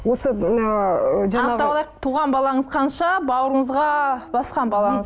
осы мына ыыы анықтап алайық туған балаңыз қанша бауырыңызға басқан балаңыз